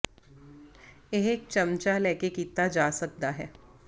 ਇਹ ਇੱਕ ਚਮਚਾ ਲੈ ਕੇ ਕੀਤਾ ਜਾ ਸਕਦਾ ਹੈ